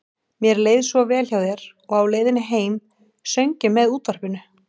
Mér leið svo vel hjá þér og á leiðinni heim söng ég með útvarpinu.